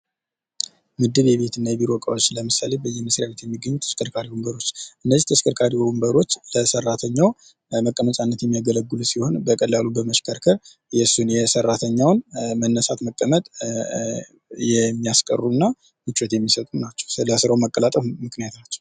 ምድብ የቤትና የቢሮ እቃዎች ለምሳሌ በየመስሪያ ቤቱ የሚገኙ ተሽከርካሪ ወንበሮች እነዚህ ተሽከርካሪ ወንበሮች ለሰራተኛው መቀመጫነት የሚያገለግሉ ሲሆን በቀላሉ በመሽከርከር የሱን የሰራተኛውን መነሳት መቀመጥ የሚያስቀሩና ምቾት የሚሰጡ ናቸው። ለስራው መቀላጠፍ ምክንያት ናቸው።